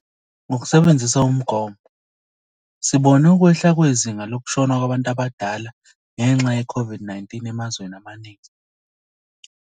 Ngokusebenzisa umgomo, sibona ukwehla kwezinga lokushona kwabantu abadala ngenxa yeCOVID-19 emazweni amaningi.